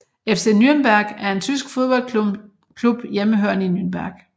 FC Nürnberg er en tysk fodboldklub hjemmehørende i Nürnberg